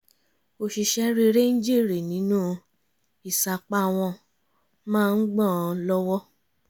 oṣìṣẹ́ rere ń jèrè nínú ìsapá wọ́n máa ń gbà án l'ọ́wọ́